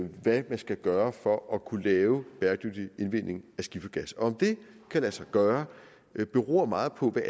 hvad man skal gøre for at kunne lave bæredygtig udvinding af skiffergas og om det kan lade sig gøre beror meget på hvad